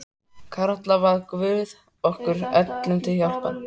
Karla bað guð okkur öllum til hjálpar.